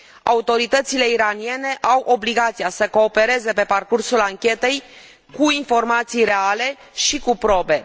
Autoritățile iraniene au obligația să coopereze pe parcursul anchetei cu informații reale și cu probe.